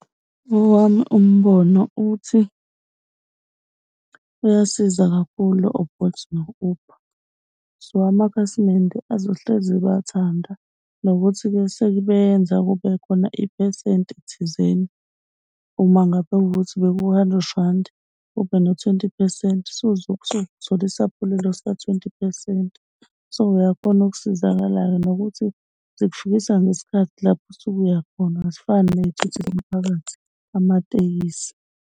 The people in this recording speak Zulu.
Owami umbono uthi bayasiza kakhulu o-Bolt no-Uber. So, amakhasimende azohlezi ebathanda nokuthi-ke sebenza kube khona iphesenti thizeni, uma ngabe kukuthi bekuwu-hundred randi, be no-twenty phesenti, suthole isaphulelo sika-twenty phesenti. So, uyakhona ukusizakala nokuthi zikufikisa ngesikhathi lapho osuku uyakhona. Azifani ney'thuthi zomphakathi, amatekisi